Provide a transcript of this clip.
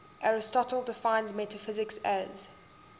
aristotle defines metaphysics as